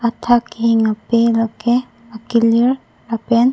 athak kihing ape la ke akilir lapen--